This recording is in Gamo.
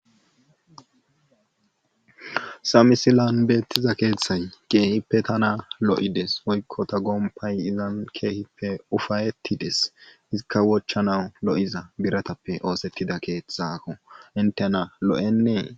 Hessa misilan beettiza keethay keehippe tana lo7ides woykko ta gomppay izan ufayettides izikka wochanaw lo7iza biratappe oosettida keethaako hinttena lo7ennee.